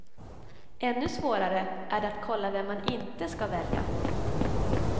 Ännu svårare är det att kolla vem man inte ska välja.